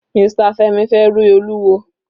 Mr Femi fẹ rí Olúwo.